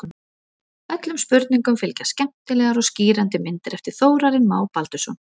Öllum spurningum fylgja skemmtilegar og skýrandi myndir eftir Þórarinn Má Baldursson.